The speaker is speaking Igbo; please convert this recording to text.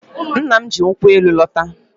Nna m ji nkwụ elu lọta.